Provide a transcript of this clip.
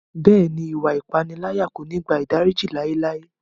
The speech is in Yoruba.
Bẹ́ẹ̀ni, iwạ ipanilaya ko ni gba idariji laelae.